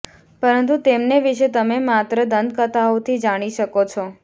પરંતુ તેમને વિશે તમે માત્ર દંતકથાઓ થી જાણી શકો છો